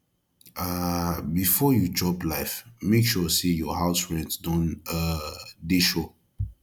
um before you chop life make sure say your house rent don um dey sure